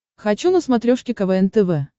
хочу на смотрешке квн тв